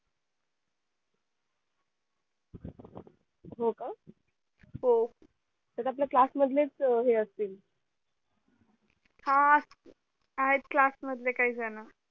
हो का हो त्यात आपल्या class मधलेच हे असतील हा आहेत class मधले काही जण